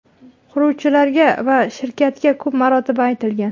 Quruvchilarga va shirkatga ko‘p marotaba aytilgan.